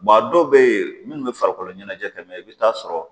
Maa dɔ bɛ ye minnu bɛ farikolo ɲɛnajɛ kɛ i bɛ t'a sɔrɔ